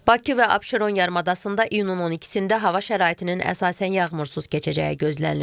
Bakı və Abşeron yarımadasında iyunun 12-də hava şəraitinin əsasən yağmursuz keçəcəyi gözlənilir.